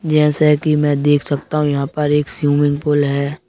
जैसे कि मैं देख सकता हूं यहां पर एक स्विमिंग पूल है।